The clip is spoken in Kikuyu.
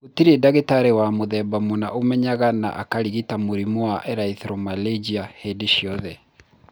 Gũtirĩ ndagĩtarĩ wa mũthemba mũna ũmenyaga na akarigita mũrimũ wa erythromelalgia hĩndĩ ciothe.